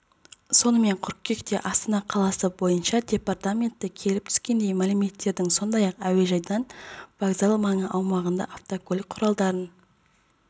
сонымен қыркүйекте астана қаласы бойынша департаменті келіп түскен мәліметтердің сондай-ақ әуежайдың вокзал маңы аумағында автокөлік құралдарын